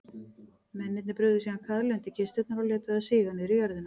Mennirnir brugðu síðan kaðli undir kisturnar og létu þær síga niður í jörðina.